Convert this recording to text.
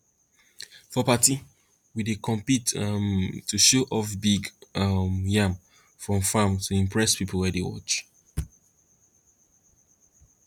for party we dey compete um to show off big um yam from farm to impress people who dey watch